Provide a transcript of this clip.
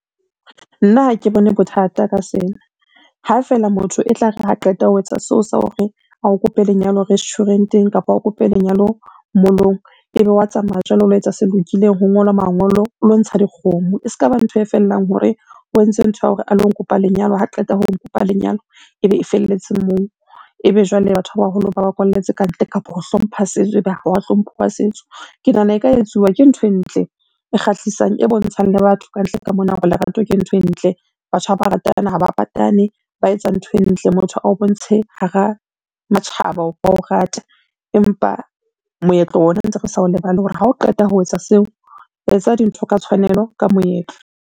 Nna ha ke bone bothata ka sena, ha feela motho e tlare ha qeta ho etsa seo sa hore a o kope lenyalo restuarant-eng kapa o kope lenyalo mall-ong, ebe wa tsamaya jwale o lo etsa se lokileng, ho ngolwa mangolo, o lo ntsha dikgomo. E ska ba ntho e fellang hore o entse ntho ya hore a lo nkopa lenyalo ha qeta ho nkopa lenyalo, ebe e felletse moo. Ebe jwale batho ba baholo ba ba kwalletse kantle kapa ho hlompha setso ebe ha wa hlomphuwa setso. Ke nahana e ka etsuwa ke ntho e ntle e kgahlisang, e bontshang le batho kantle ka mona hore lerato ke ntho e ntle, batho ha ba ratana ha ba patane, ba etsa ntho e ntle. Motho a o bontshe hara matjhaba hore wa o rata, empa moetlo ona ntse re sa o lebale hore ha o qeta ho etsa seo, etsa dintho ka tshwanelo ka moetlo.